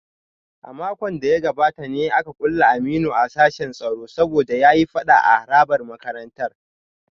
A makon da ya gabata ne aka kulle Aminu a sashin tsaro saboda ya yi fada a harabar makarantar